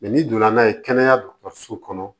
n'i donna n'a ye kɛnɛya kɔnɔ